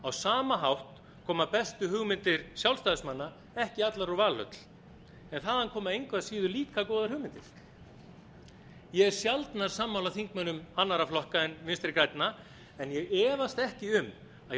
á sama hátt koma bestu hugmyndir sjálfstæðismanna ekki allar úr valhöll en þaðan koma engu að síður líka góðar hugmyndir ég er sjaldnar sammála þingmönnum annarra flokka en vinstri grænna en ég efast ekki um að hjá